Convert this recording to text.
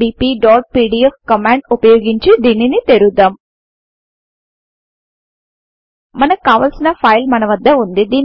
bpపీడీఎఫ్ command ఉపయోగించి దీనిని తెరుద్దాం మనకు కావాల్సిన ఫైల్ మనవద్ద ఉంది